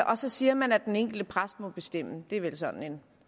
og så siger man at den enkelte præst må bestemme det er vel sådan en